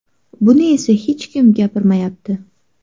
Buni esa hech kim gapirmayapti.